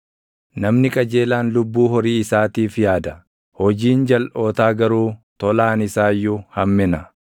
Namni qajeelaan lubbuu horii isaatiif yaada; hojiin jalʼootaa garuu tolaan isaa iyyuu hammina.